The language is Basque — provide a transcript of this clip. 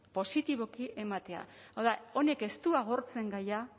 positiboki ematea hau da honek ez du agortzen gaia